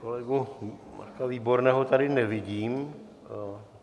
Kolegu Marka Výborného tady nevidím.